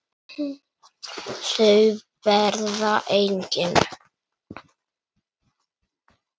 Þau verða engin.